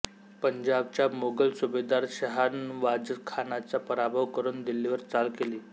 पंजाबचा मोगल सुभेदार शहानवाजखानाचा पराभव करून दिल्लीवर चाल केली